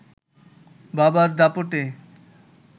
বাবার দাপটে